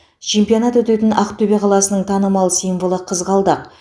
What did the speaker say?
чемпионат өтетін ақтөбе қаласының танымал символы қызғалдақ